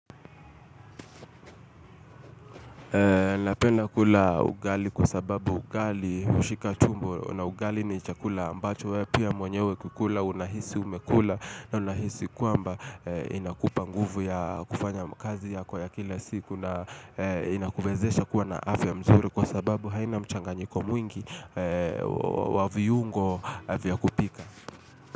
Napenda kula ugali kwa sababu ugali hushika tumbo na ugali ni chakula ambacho wepia mwenyewe kukula unahisi umekula na unahisi kwamba inakupa nguvu ya kufanya mkazi ya kwa ya kila siku na inakuwezesha kuwa na afya mzuri kwa sababu haina mchanganyiko mwingi waviyungo vya kupika.